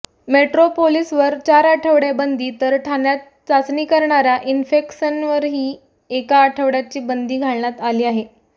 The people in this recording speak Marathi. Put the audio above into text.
मेट्रोपोलीसवर चार आठवडे बंदी तर ठाण्यात चाचणी करणाऱ्या इन्फेक्सनवरही एका आठवड्याची बंदी घालण्यात आली आहे